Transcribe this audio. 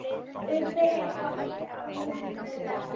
Ubbi, er bolti á miðvikudaginn?